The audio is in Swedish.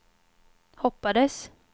hoppades